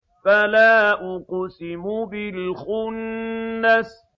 فَلَا أُقْسِمُ بِالْخُنَّسِ